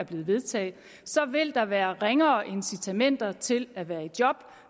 vedtaget så vil der være ringere incitamenter til at være i job